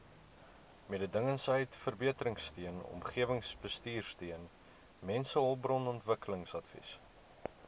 mededingendheidsverbeteringsteun omgewingsbestuursteun mensehulpbronontwikkelingsadvies